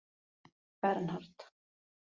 Bernhard